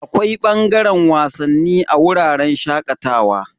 Akwai bangaren wasanni a wuraren shakatawa.